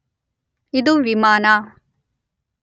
ಇದು ವಿಮಾನ